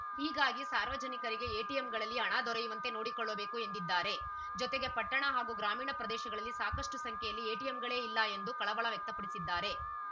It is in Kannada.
ಹೀಗಾಗಿ ಸಾರ್ವಜನಿಕರಿಗೆ ಎಟಿಎಂಗಳಲ್ಲಿ ಹಣ ದೊರೆಯುವಂತೆ ನೋಡಿಕೊಳ್ಳಬೇಕು ಎಂದಿದ್ದಾರೆ ಜೊತೆಗೆ ಪಟ್ಟಣ ಹಾಗೂ ಗ್ರಾಮೀಣ ಪ್ರದೇಶಗಳಲ್ಲಿ ಸಾಕಷ್ಟುಸಂಖ್ಯೆಯಲ್ಲಿ ಎಟಿಎಂಗಳೇ ಇಲ್ಲ ಎಂದು ಕಳವಳ ವ್ಯಕ್ತಪಡಿಸಿದ್ದಾರೆ